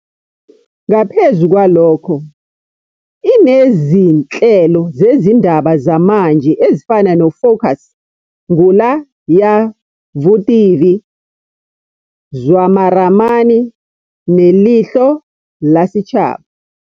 Ngaphezu kwalokho, inezinhlelo zezindaba zamanje ezifana noFokus, Ngula Ya Vutivi, Zwa Maramani neLeihlo La Sechaba.